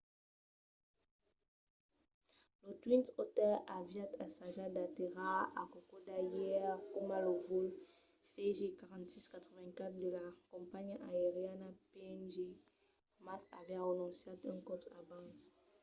lo twin otter aviá ensajat d’aterrar a kokoda ièr coma lo vòl cg4684 de la companhiá aeriana png mas aviá renonciat un còp abans